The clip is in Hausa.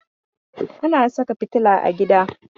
Ana saka fitila a gida